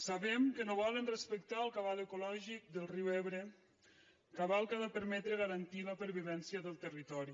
sabem que no volen respectar el cabal ecològic del riu ebre cabal que ha de permetre garantir la pervivència del territori